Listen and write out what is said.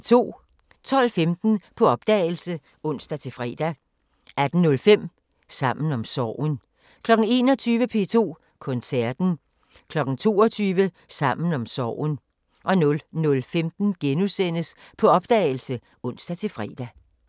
12:15: På opdagelse (ons-fre) 18:05: Sammen om sorgen 21:00: P2 Koncerten 22:00: Sammen om sorgen 00:15: På opdagelse *(ons-fre)